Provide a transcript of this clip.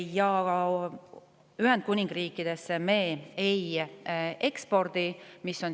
Ühendkuningriiki me ei ekspordi.